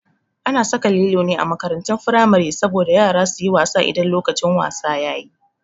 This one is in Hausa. A na saka lilo ne a makarantun firamare saboda yara su yi wasa idan lokacin wasa yayi